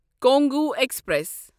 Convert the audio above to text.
Congo express